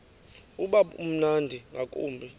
uba mnandi ngakumbi